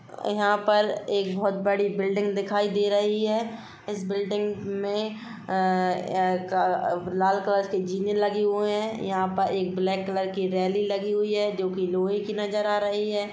यहाँ पर एक बोहत बड़ी बिल्डिंग दिखाई दे रही है इस बिल्डिंग में अअ लाल कलर के जीने लगे हुए है यहाँ पर एक ब्लेक कलर की रेलिंग लगी हुई है जो कि लोहे की नज़र आ रही है।